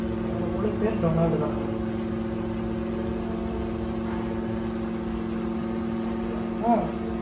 என்னோட முழுப்பெயர் டொனால்டு தான் mam ஆ!